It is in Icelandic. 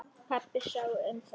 Pabbi sá um það.